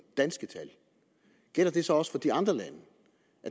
danske tal gælder det så også for de andre lande